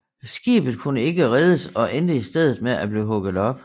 Skibet kunne ikke reddes og endte i stedet med at blive hugget op